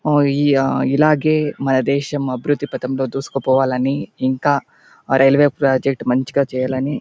ఆ ఇలాగే మన దేశం అభివ్రిద్ది పటంలో దూసుకు పోవాలని ఇంకా ఆ రైల్వే ప్రాజెక్ట్ మంచిగా చేయాలనీ --